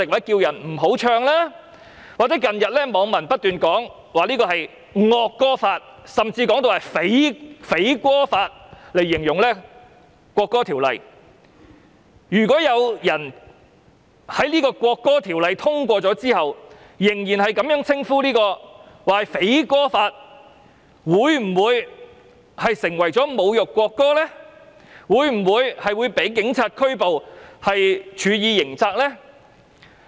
近日網民不斷以"惡歌法"甚至"匪歌法"來形容這項《條例草案》，如果在《條例草案》獲通過後仍然稱之為"匪歌法"，會否被指為侮辱國歌，因而被警察拘捕並處以刑責呢？